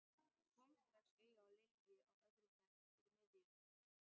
Kom strax auga á Lilju á öðrum bekk fyrir miðju.